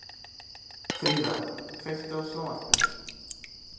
Fríða, kveiktu á sjónvarpinu.